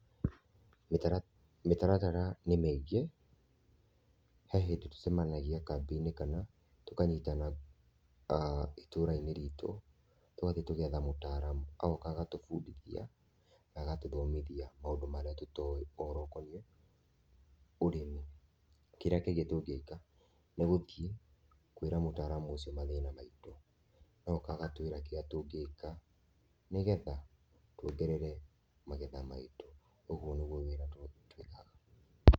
Mĩtaratara nĩ mĩngĩ, he hĩndĩ tũcemanagia kambĩinĩ kana tũkanyitana ĩtũra-ĩnĩ rĩitũ tũgathie tũgetha mũtaramu agoka agatũbũndithia, agatũthomithia maũndũ marĩa tũtoĩ ũhoro ũkonie ũrĩmi, kĩrĩa kĩngĩ tũngĩka nĩ gũthie kwĩra mutaraamu ucio mathĩna maĩtũ agoka agatwĩra kĩrĩa tũngĩka nĩgetha twongerere magetha maitũ, ũgũo nĩgũo wĩra twĩkaga.